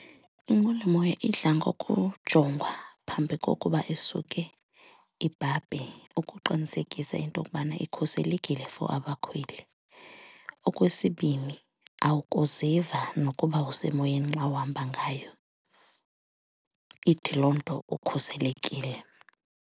Inqwelomoya idla ngokujongwa phambi kokuba isuke ibhabhe ukuqinisekisa into kubana ikhuselekile for abakhweli. Okwesibini awukuziva nokuba usemoyeni xa uhamba ngayo, ithi loo nto ukhuselekile.